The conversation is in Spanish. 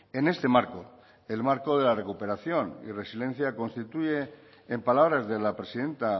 en este marco el marco de la recuperación y resilencia constituye en palabras de la presidenta